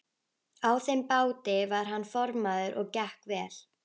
Á þeim báti var hann formaður og gekk vel.